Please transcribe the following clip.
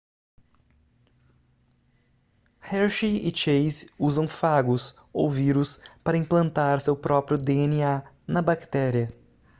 hershey e chase usam fagos ou vírus para implantar seu próprio dna na bactéria